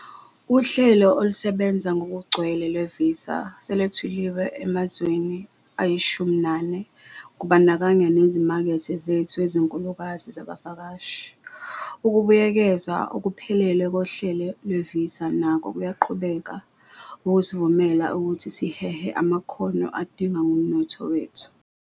Uhlelo olusebenza ngokugcwele lwee-Visa selwethulilwe emazweni ayi-14, kubandakanya nezimakethe zethu ezinkulukazi zabavakashi. Ukubuyekezwa okuphelele kohlelo lwevisa nako kuyaqhubeka ukusivumela ukuthi sihehe amakhono adingwa ngumnotho wethu.